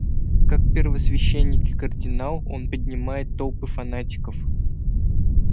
как первосвященник и кардинал он поднимает толпы фанатиков